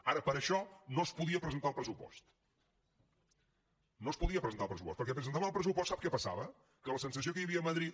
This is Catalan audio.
ara per a això no es podia presentar el pressupost no es podia presentar el pressupost perquè presentant el pressupost sap què passava que la sensació que hi havia a madrid